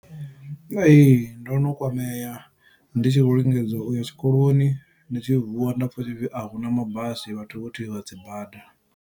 Ee, ndo no kwamea ndi tshi vho lingedzwa uya tshikoloni, ndi tshi vuwa nda pfa hu tshipfi a huna mabasi, vhathu vho thivha dzibada.